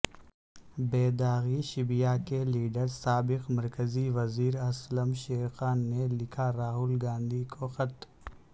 بے داغ شبیہ کے لیڈر سابق مرکزی وزیراسلم شیر خان نے لکھاراہل گاندھی کو خط